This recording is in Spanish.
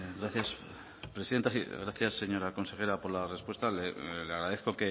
gracias presidenta sí gracias señora consejera por la respuesta le agradezco